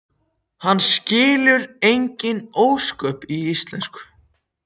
Hann skilur engin ósköp í íslensku.